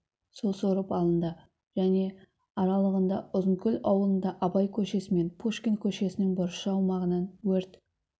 су сорып алынды және аралығында ұзынкөл аулында абай көшесі мен пушкин көшесінің бұрышы аумағынан өрт